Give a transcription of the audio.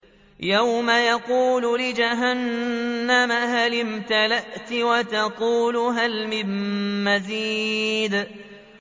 يَوْمَ نَقُولُ لِجَهَنَّمَ هَلِ امْتَلَأْتِ وَتَقُولُ هَلْ مِن مَّزِيدٍ